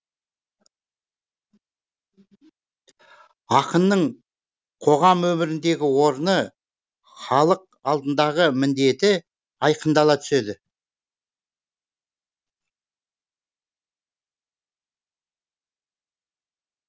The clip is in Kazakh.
ақынның қоғам өміріндегі орны халық алдындағы міндеті айқындала түседі